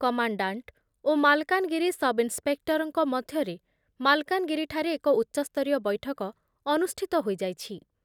Commandant ଓ Malkangiri inspector ମଧ୍ୟରେ ମାଲକାନଗିରିଠାରେ ଏକ ଉଚ୍ଚସ୍ତରୀୟ ବୈଠକ ଅନୁଷ୍ଠିତ ହୋଇଯାଇଛି ।